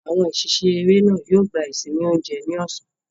Àwọn òṣìṣẹ́ eré náà yóò gba ìsinmi oúnjẹ ní ọ̀sán.